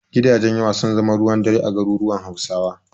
Gidajen yawa sun zama ruwan dare a garuruwan Hausawa.